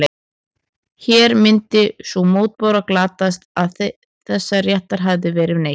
Hér myndi sú mótbára glatast að þessa réttar hefði þegar verið neytt.